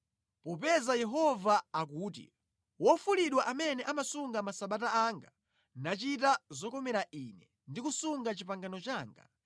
Popeza Yehova akuti, “Wofulidwa amene amasunga masabata anga, nachita zokomera Ine ndi kusunga pangano langa,